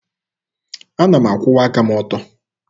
Ana m akwụwa aka m ọtọ.